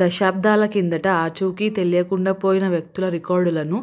దశాబ్దాల కిందట ఆచూకీ తెలియకుండా పోయిన వ్యక్తుల రికార్డులను